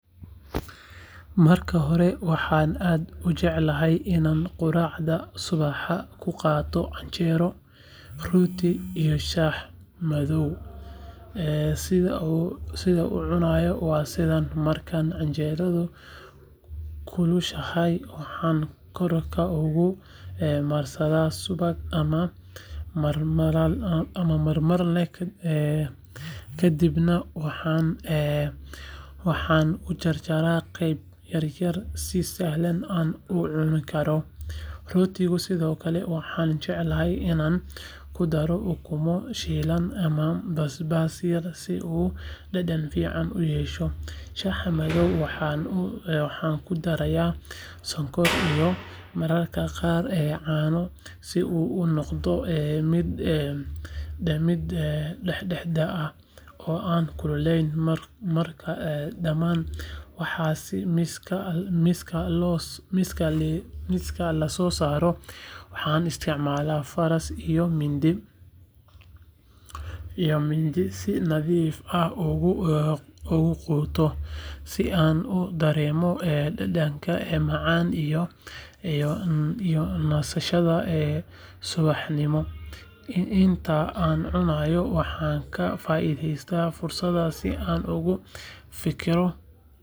Marka hore waxaan aad u jeclahay inaan quraacda subaxda ku qaato canjeero, rooti iyo shaah madow sidaan u cunayo waa sidaan marka canjeeradu kulushahay waxaan korka uga marsadaa subag ama marmalade kadibna waxaan u jarjaraa qaybo yaryar si sahal ah loo cuni karo rootiga sidoo kale waxaan jecelahay inaan ku daro ukumo shiilan ama basbaas yar si uu dhadhan fiican u yeesho shaaha madowna waxaan ku darayaa sonkor iyo mararka qaar caano si uu u noqdo mid dhexdhexaad ah oo aan kululayn marka dhamaan waxaasi miiska la soo saaro waxaan isticmaalaa faras iyo mindi si nadiif ah ugu quuto si aan u dareemo dhadhanka macaan iyo nasashada subaxnimo inta aan cunayo waxaan ka faa’iidaystaa fursadda si aan uga fikirto.